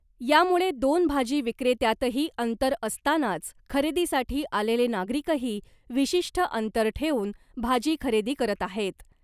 यामुळे दोन भाजी विक्रेत्यातही अंतर असतानाच खरेदीसाठी आलेले नागरिकही विशिष्ट अंतर ठेवून भाजी खरेदी करत आहेत .